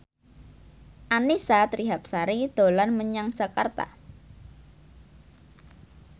Annisa Trihapsari dolan menyang Jakarta